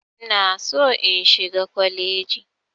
Ina so in shiga kwaleji.